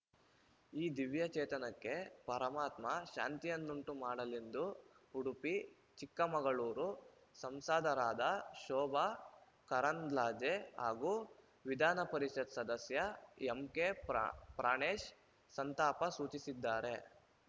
ಈ ದಿವ್ಯಚೇತನಕ್ಕೆ ಪರಮಾತ್ಮ ಶಾಂತಿಯನ್ನುಂಟು ಮಾಡಲೆಂದು ಉಡುಪಿ ಚಿಕ್ಕಮಗಳೂರು ಸಂಸದರಾದ ಶೋಭಾ ಕರಾಂದ್ಲಜೆ ಹಾಗೂ ವಿಧಾನಪರಿಷತ್‌ ಸದಸ್ಯ ಎಂಕೆ ಪ್ರಾ ಪ್ರಾಣೇಶ್‌ ಸಂತಾಪ ಸೂಚಿಸಿದ್ದಾರೆ